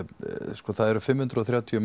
sko það eru fimm hundruð og þrjátíu